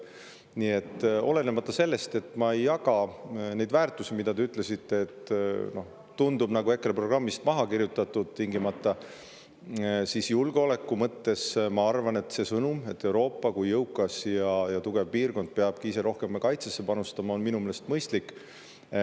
Nii et olenemata sellest, et ma ei jaga neid väärtusi, mille kohta te ütlesite, et tundub nagu EKRE programmist maha kirjutatud, ma arvan, et see sõnum julgeoleku kohta, et Euroopa kui jõukas ja tugev piirkond peabki ise rohkem kaitsesse panustama, on minu meeles mõistlik.